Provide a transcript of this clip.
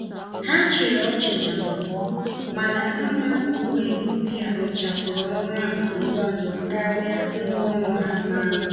Ha chịrị ọchị na mbụ, mana mma owuwe ihe ubi a rụchapụrụ ọrụ ahụ ngwa ngwa karịa ngwa orụ ha mara mma.